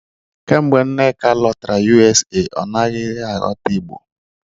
Kemgbe Nneka lọtara USA, ọ naghị aghọta Igbo